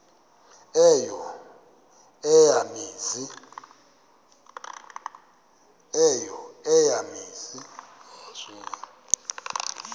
eyo eya mizi